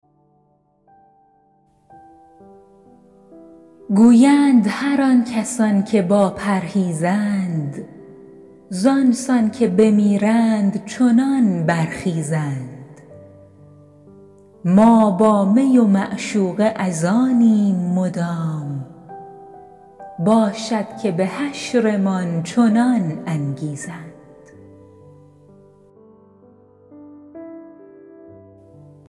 گویند هر آن کسان که با پرهیزند زآن سان که بمیرند چنان برخیزند ما با می و معشوقه از آنیم مدام باشد که به حشرمان چنان انگیزند